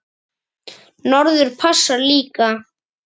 Norður passar líka.